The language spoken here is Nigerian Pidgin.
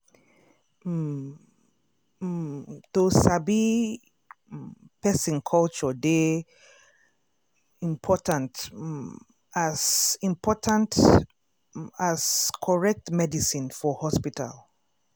um um to sabi um person culture dey um important um as important um as correct medicine for hospital.